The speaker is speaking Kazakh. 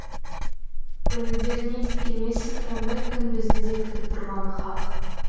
көңілдеріне де келмесін ондай күн бізді де күтіп тұрғаны хақ